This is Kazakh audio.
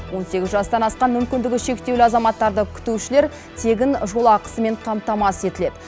он сегіз жастан асқан мүмкіндігі шектеулі азаматтарды күтушілер тегін жолақысымен қамтамасыз етіледі